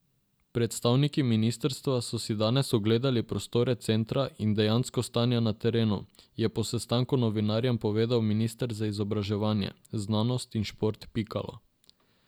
Predstavniki ministrstva so si danes ogledali prostore centra in dejansko stanje na terenu, je po sestanku novinarjem povedal minister za izobraževanje, znanost in šport Pikalo.